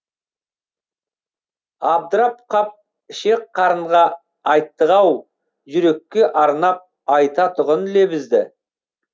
абдырап қап ішек қарынға айттық ау жүрекке арнап айтатұғын лебізді